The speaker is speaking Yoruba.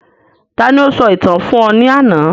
Ta ni o sọ ìtàn fún ọ ní àná